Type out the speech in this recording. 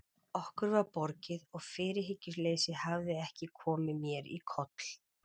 Okkur var borgið og fyrirhyggjuleysið hafði ekki komið mér í koll.